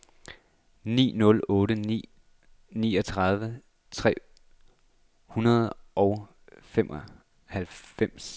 ni nul otte ni niogtredive tre hundrede og femoghalvfems